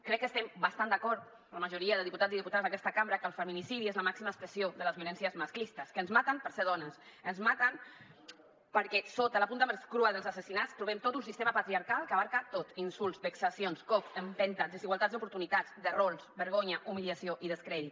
crec que estem bastant d’acord la majoria de diputats i diputades d’aquesta cambra que el feminicidi és la màxima expressió de les violències masclistes que ens maten per ser dones ens maten perquè sota la punta més crua dels assassinats trobem tot un sistema patriarcal que ho abasta tot insults vexacions cops empentes desigualtats d’oportunitats de rols vergonya humiliació i descrèdit